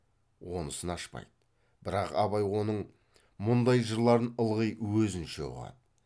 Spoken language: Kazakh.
онысын ашпайды бірақ абай оның мұндай жырларын ылғи өзінше ұғады